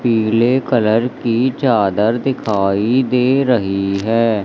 पीले कलर की चादर दिखाई दे रही है।